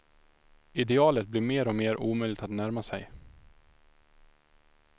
Idealet blir mer och mer omöjligt att närma sig.